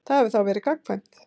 Það hefur þá verið gagnkvæmt.